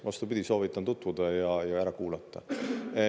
Vastupidi, soovitan tutvuda ja ära kuulata.